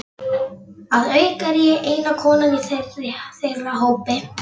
Að auki er ég eina konan í þeirra hópi.